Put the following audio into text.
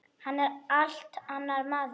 Hann er allt annar maður.